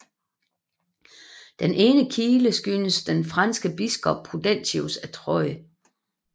Den ene kile skyldes den franske biskop Prudentius af Troyes